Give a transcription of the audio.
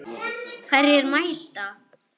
Hverjir mæta?